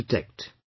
' We protect